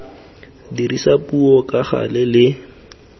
dirisa puo ka gale le